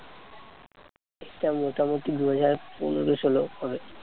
এইটা মোটামুটি দুই হাজার পনেরো-ষোলো হবে।